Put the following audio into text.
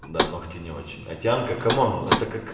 да ногти не очень а тянка комон это как